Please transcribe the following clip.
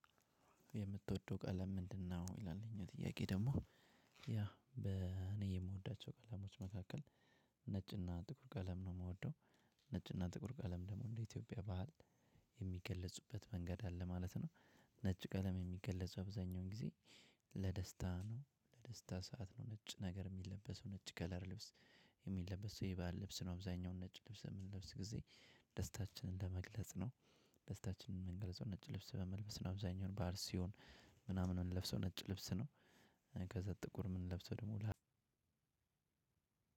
የምትወደው ቀለም ምንድን ነው? ይላል። ይህኛው ጥያቄ ደሞ ያ እኔ የምዎዳቸውቀለሞች መካከል ነጭ እና ጥቁር ቀለም ነው የምወደው። ነጭ ቀለም የሚገለጹ አብዛኛውን ጊዜ ለደስታ ነው ለደስታ ሰዓት ነው ነጭ ነገር የሚለበሰው ነጭ ከለር ልብስ። የሚለበስ የባህል ልብስ ነው አብዛኛው ነጭ ልብስ በምንለብስ ጊዜ ደስታችንን ለመግለጽ ነው። ደስታችንን የምንገልጸው ነጭ ልብስ በመልበስ ነው። አብዛኛውን በዓል ሲሆን ምናምን የምንለብሰው ነጭ ልብስ ነው። ከዛ ጥቁር የምንለብሰው ደሞ ለሀዘን ነው።